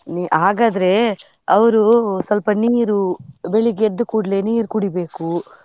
ನೀ ಹಾಗಾದ್ರೆ, ಅವ್ರು ಸ್ವಲ್ಪ ನೀರು, ಬೆಳಿಗ್ಗೆ ಎದ್ದ ಕುಡ್ಲೆ ನೀರ್ ಕುಡಿಬೇಕು.